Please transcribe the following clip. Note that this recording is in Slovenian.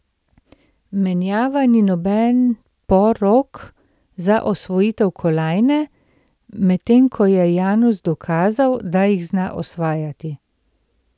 Menjava ni noben porok za osvojitev kolajne, medtem ko je Janus dokazal, da jih zna osvajati.